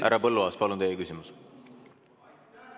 Härra Põlluaas, palun teie küsimus!